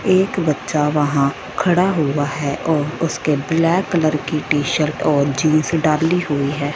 एक बच्चा वहां खड़ा हुआ है और उसके ब्लैक कलर की टी शर्ट और जींस डाली हुई है।